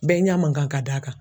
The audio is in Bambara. Bɛɛ ɲɛ man kan ka d'a kan